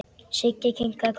Siggi kinkaði kolli.